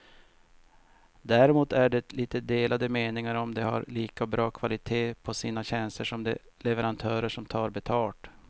Däremot är det lite delade meningar om de har lika bra kvalitet på sina tjänster som de leverantörer som tar betalt.